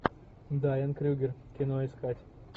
дайан крюгер кино искать